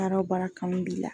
Baara o baara kanu b'i la